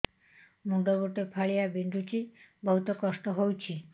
ମୁଣ୍ଡ ଗୋଟେ ଫାଳିଆ ବିନ୍ଧୁଚି ବହୁତ କଷ୍ଟ ହଉଚି